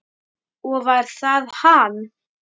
Og var það hann?